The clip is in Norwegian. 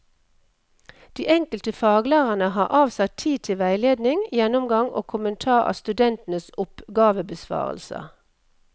De enkelte faglærerne har avsatt tid til veiledning, gjennomgang og kommentar av studentenes oppgavebesvarelser.